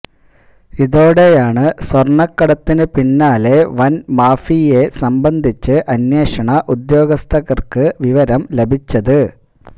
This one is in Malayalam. ഇതോടെയാണ് സ്വര്ണക്കടത്തിന് പിന്നിലെ വന് മാഫിയയെസംബന്ധിച്ച് അന്വേഷണ ഉദ്യോഗസ്ഥര്ക്ക് വിവരം ലഭിച്ചത്